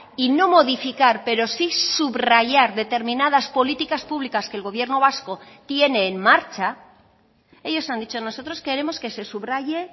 y no modificar pero sí subrayar determinadas políticas públicas que el gobierno vasco tiene en marcha ellos han dicho nosotros queremos que se subraye